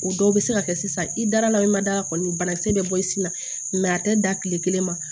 O dɔw bɛ se ka kɛ sisan i dara i ma da la kɔni banakisɛ bɛ bɔ i sin na a tɛ da kile kelen ma